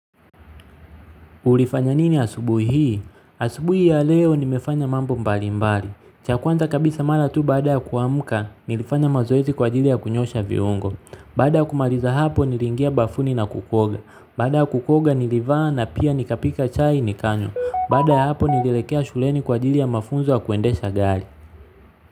Ulifanya nini asubuhi hii? Asubuhi hii ya leo nimefanya mambo mbalimbali. Cha kwanza kabisa mara tu baada ya kuamka nilifanya mazoezi kwa ajili ya kunyoosha viungo. Baada ya kumaliza hapo niliingia bafuni na kuoga. Baada ya kuoga nilivaa na pia nikapika chai nikanywa. Baada ya hapo nilielekea shuleni kwa ajili ya mafunzo ya kuendesha gari.